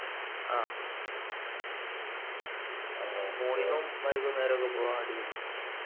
ആഹ് morning ഉം വൈകുന്നേരവും ഒക്കെ പോകാൻ അടിപൊളിയാ